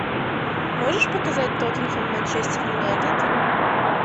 можешь показать тоттенхэм манчестер юнайтед